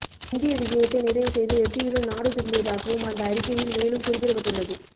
இந்திய விஜயத்தை நிறைவு செய்து வெற்றியுடன் நாடு திரும்பியதாகவும் அந்த அறிக்கையில் மேலும் குறிப்பிடப்பட்டுள்ளது